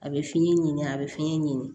A bɛ fiɲɛ ɲini a bɛ fiɲɛ ɲini